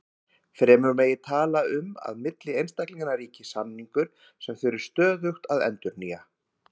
Fremur megi tala um að milli einstaklinganna ríki samningur sem þurfi stöðugt að endurnýja.